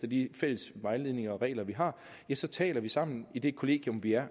de fælles vejledninger og regler vi har ja så taler vi sammen om i det kollegium vi er